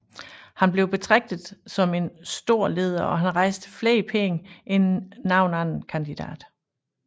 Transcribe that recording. Han blev betraget som en stor leder og han rejste flere penge end nogen anden kandidat